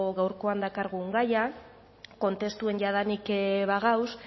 gaurkoan dakargun gaia kontestuen jadanik bagauz